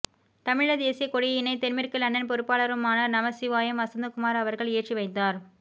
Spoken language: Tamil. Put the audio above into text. தமிழீழ தேசிய கொடியினை தென்மேற்கு லண்டன் பொறுப்பாளருமான நமசிவாயம் வசந்தகுமார் அவர்கள் ஏற்றிவைத்தார்